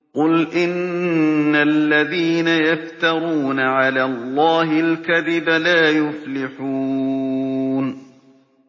قُلْ إِنَّ الَّذِينَ يَفْتَرُونَ عَلَى اللَّهِ الْكَذِبَ لَا يُفْلِحُونَ